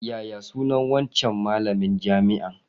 Yaya sunan wancan malamin jami'an?